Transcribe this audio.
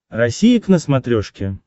россия к на смотрешке